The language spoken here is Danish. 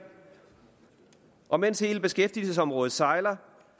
og mens hele beskæftigelsesområdet sejler